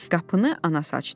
Qapını anası açdı.